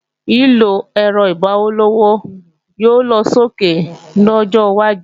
Lílọ ẹ̀rọ igbowó-ọlọ́wọ́ yóò lọsókè lọ́jọ́ wájú